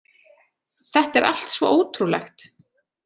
Þetta er allt svo ótrúlegt